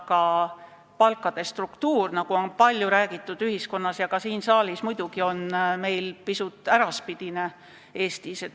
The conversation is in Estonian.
–, aga palkade struktuur, nagu on siin saalis ja kogu ühiskonnas palju räägitud, on meil pisut äraspidine.